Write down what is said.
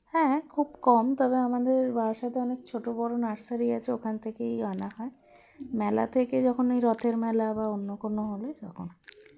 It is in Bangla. হ্যাঁ খুব কম তবে আমাদের বারাসাতে অনেক ছোটো বড়ো nursery আছে ওখান থেকেই আনা হয় মেলা থেকে যখন ঐ রথের মেলা বা অন্যকোন হলে তখন